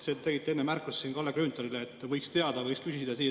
Te tegite enne märkuse Kalle Grünthalile, et võiks teada ja võiks küsida.